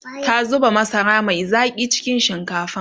ta zuba masara Mai Zaki cikin shinkafan